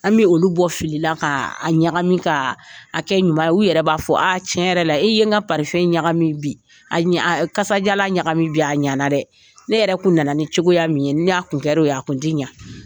An bɛ olu bɔ filila ka a ɲagami ka a kɛ ɲuman ye ,u yɛrɛ b'a fɔ a tiɲɛ yɛrɛ la, e ye n ka ɲagami bi,a ɲa kasadiyalan ɲagami bi a ɲana dɛ, ne yɛrɛ kun nana ni cogoya min ye ni a kun kɛra o ye a kun te ɲa.